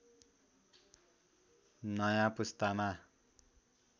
नयाँ पुस्तामा